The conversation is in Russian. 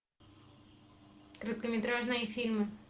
короткометражные фильмы